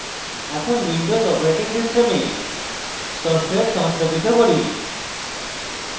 এখন windows operating system software সংস্থাপিত করি